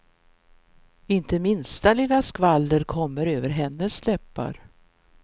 Inte minsta lilla skvaller kommer över hennes läppar.